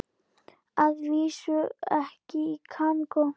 Að vísu ekki í Kongó.